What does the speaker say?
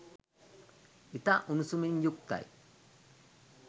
ඉතා උණුසුමින් යුක්තයි.